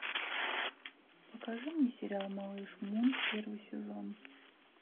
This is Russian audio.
покажи мне сериал малыш мун первый сезон